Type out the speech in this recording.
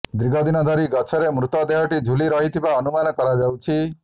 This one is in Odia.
ଦୀର୍ଘଦିନ ଧରି ଗଛରେ ମୃତଦେହଟି ଝୁଲି ରହିଥିବା ଅନୁମାନ କରାଯାଉଛି